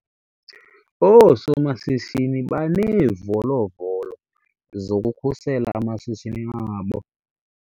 Oosomashishini baneevolovolo zokukhusela amashishini abo.